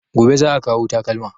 Gobe za a kawo takalma